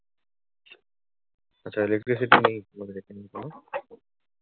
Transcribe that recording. আচ্ছা electricity নেই তোমাদের ওখানে তাই না?